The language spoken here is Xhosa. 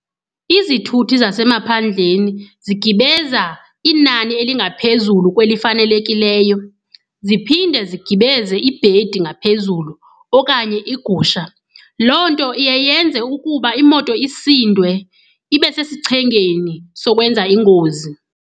Izithuthi zasemaphandleni zigibeza inani elingaphezulu kwelifanelekileyo. Ziphinde zigibeze ibhedi ngaphezulu okanye iigusha. Loo nto iye yenze ukuba imoto isindwe ibe sesichengeni sokwenza ingozi.